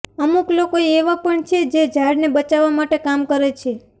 અમુક લોકો એવા પણ છે જે ઝાડને બચાવવા માટે કામ કરે છે